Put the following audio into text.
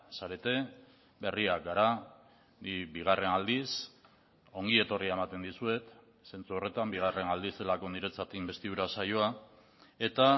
zarete berriak gara bigarren aldiz ongi etorria ematen dizuet zentzu horretan bigarren aldiz delako niretzat inbestidura saioa eta